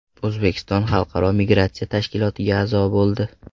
O‘zbekiston Xalqaro migratsiya tashkilotiga a’zo bo‘ldi.